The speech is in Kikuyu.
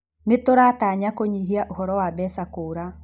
Nĩ tũrataranya kũnyihia ũhoro wa mbeca kũũra.